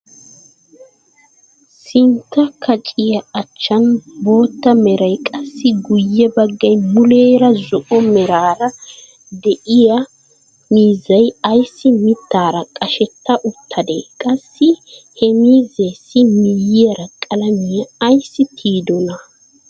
Sintta kaciyaa achan bootta meray qassi guye baggay muleera zo'o meraara de'iyaa miizziyaa ayssi mittaara qashetta uttadee? qassi he miizzeesi miyiyaara qalamiyaa aysi tiyidonaa?